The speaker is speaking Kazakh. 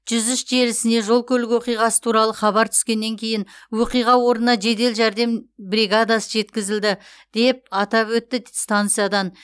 жүз үш желісіне жол көлік оқиғасы туралы хабар түскеннен кейін оқиға орнына жедел жәрдем бригадасы жеткізілді деп атап өтті станциядан